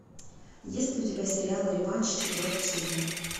есть ли у тебя сериал реванш четвертый сезон